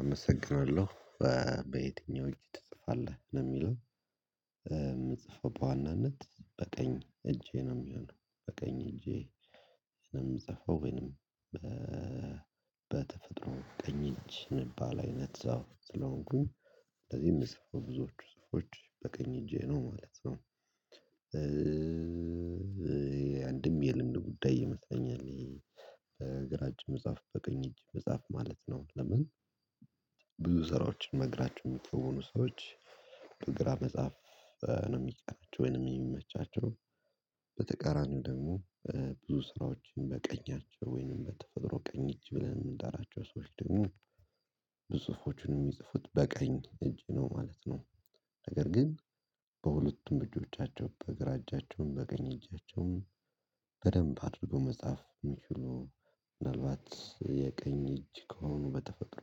አመሰግናለሁ። በየትኛው እጅ ትጽፋለህ ነው የሚለው? የምጽፈው በዋናነት በቀኝ እጄ ነው የሚሆነው በቀኝ እጄ ነው የምጽፈው። ወይንም በተፈጥሮ ቀኝ እንጂ የምባል አይነት ሰው ስለሆንኩኝ ስለዚህ የምጽፈው ብዙዎቹ ጽሁፎች በቀኝ እጄ ነው ማለት ነው። አንድም የልምድ ጉዳይ ይመስለኛል። በግራ እጅ መጻፍ በቅኝ እጅ መጻፍ ማለት ነው ለምን? ብዙ ስራዎችን በግራችሁ የምትከውኑ ሰዎች በግራ መጻፍ ነው የሚቀናቸው ወይንም የሚመቻቸው በተቃራኒው ደግሞ ብዙ ስራዎችን በቀኛቸው ወይንም በተፈጥሮ ቀኝ እጅ ብለን የምንጠራቸው ሰዎች ደግሞ ብዙ ጽሁፎቹን የሚጽፉት በቀኝ እጅ ነው ማለት ነው። ነገር ግን በሁለቱም እጆቻቸው በግራ እጃቸውም በቀኝ እጃቸውም አድርገው መጻፍ የሚችሉ ምናልባት የቀኝ እጅ ከሆኑ በተፈጥሮ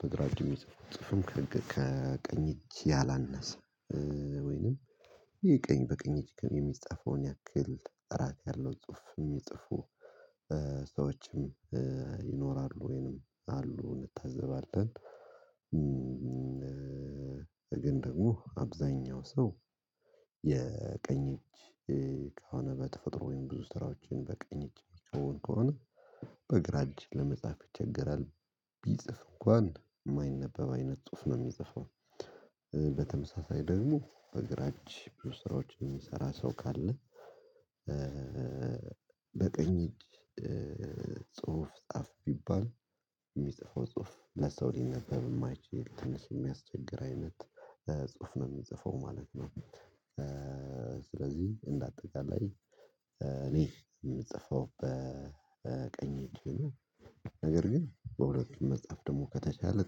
በግራ እጅ የሚጽፉት ጽሁፍም ከቀኝ እጅ ያላነሰ ወይንም የቀኝ በቀኝ እጅ የሚጻፈውን ያክል ጥራት ያለው ጽሁፍ የሚጽፉ ሰዎችም ይኖራሉ ወይንም አሉ እንታዘባለን። ግን ደግሞ አብዛኛው ሰው የቀኝ እጅ ከሆነ በተፈጥሮ ወይም ብዙ ስራዎችን በቀኝ እጅ ሚከውን ከሆነ በግራ እጅ ለመጻፍ ይቸገራል ቢጽፍ እንኳን የማይነበብ አይነት ጽሁፍ ነው የሚጽፈው። በተመሳሳይ ደግሞ በግራ እጅ ስራዎችን የሚሰራ ሰው ካለ በቀኝ እጅ ጽሁፍ ጻፍ ቢባል የሚጽፈው ጽሁፍ ለሰው ሊነበብ የማይችል ትንሽ የሚያስቸግር አይነት ጽሁፍ ነው የሚጽፈው ማለት ነው። ስለዚህ እንደ አጠቃላይ እኔ የምጽፈው በቀኝ እጅ ቢሆንም ነገር ግን በሁለቱም መጻፍ ደግሞ ከተቻለ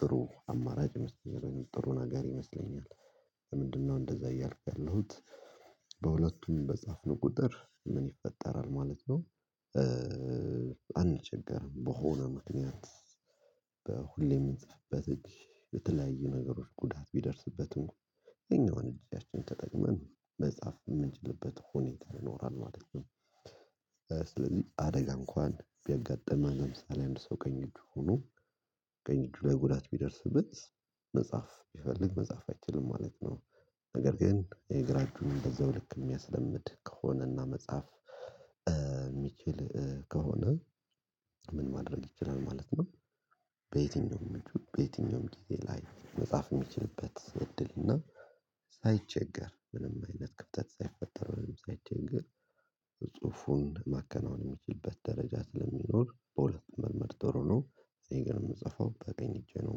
ጥሩ አማራጭ ይመስለኛል ወይንም ጥሩ ነገር ይመስለኛል። ለምንድነው እንደዛ እያልኩ ያለሁት በሁለቱም በጻፍን ቁጥር ምን ይፈጠራል ማለት ነው። አንቸገርም በሆነ ምክንያት በሁሌም የምንጽፍበት እጅ የተለያዩ ነገሮች ጉዳት ቢደርስበትም ያኛውንም እጃችን ተጠቅመን መጻፍ የምንችልበት ሁኔታ ይኖራል ማለት ነው። ስለዚህ አደጋ እንኳን ቢያጋጥመን ለምሳሌ አንድ ሰው ቀኝ እጁ ሆኖ ቀኝ እጁ ላይ ጉዳት ቢደርስበት መጻፍ ቢፈልግ መጻፍ አይችልም ማለት ነው። ነገር ግን የግራ እጁንም በዛው ልክ የሚያስለምድ ከሆነ እና መጻፍ የሚችል ከሆነ ምን ማድረግ ይችላል ማለት ነው። በየትኛውም እጁ በየትኛውም ጊዜ ላይ መጻፍ የሚችልበት እድል እና ሳይቸገር ምንም አይነት ክፍተት ሳይፈጠር ወይም ሳይቸገር ጽሁፉን ማከናወን የሚችልበት ደረጃ ስለሚኖር በሁለቱም መልመድ ጥሩ ነው። እኔ ግን የምጽፈው በቀኝ እጄ ነው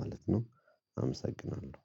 ማለት ነው። አመሰግናለሁ